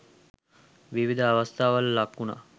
විවිධ අවස්ථාවල ලක්වුණා.